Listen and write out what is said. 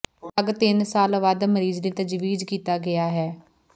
drug ਤਿੰਨ ਸਾਲ ਵੱਧ ਮਰੀਜ਼ ਲਈ ਤਜਵੀਜ਼ ਕੀਤਾ ਗਿਆ ਹੈ